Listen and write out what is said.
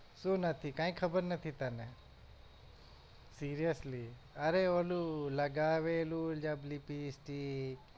શું નથી કઈ ખબર નથી તને? seriously અરે ઓલું લગાવેલું જબ lipstick